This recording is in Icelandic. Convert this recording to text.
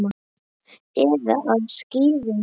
Eða á skíðum.